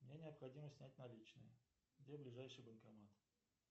мне необходимо снять наличные где ближайший банкомат